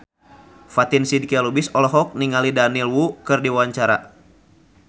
Fatin Shidqia Lubis olohok ningali Daniel Wu keur diwawancara